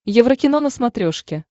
еврокино на смотрешке